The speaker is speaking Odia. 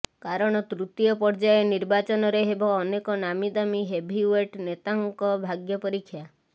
କାରଣ ତୃତୀୟ ପର୍ଯ୍ୟାୟ ନିର୍ବାଚନରେ ହେବ ଅନେକ ନାମୀ ଦାମୀ ହେଭିଓ୍ୱେଟ୍ ନେତାଙ୍କ ଭାଗ୍ୟ ପରୀକ୍ଷା